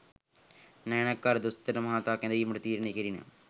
නානායක්කාර දොස්තර මහතා කැදවීමට තීරණය කෙරිණ